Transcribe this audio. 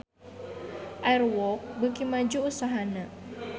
Air Walk beuki maju usahana